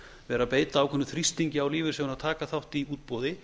vera að beita ákveðnum þrýstingi á lífeyrissjóðina að taka þá í útboði